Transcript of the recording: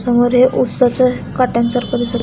समोर एक ऊसाच्या काटयांसारख दिस--